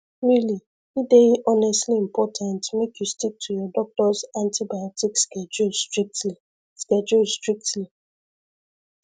really e dey honestly important make you stick to your doctors antibiotic schedule strictly schedule strictly